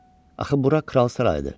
Axı bura kral sarayıdır.